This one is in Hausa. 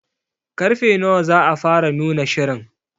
Karfe nawa za a fara nuna shirin?